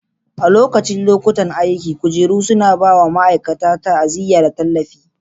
A lokacin lokutan aiki, kujeru suna ba wa ma'aikata ta'aziyya da tallafi.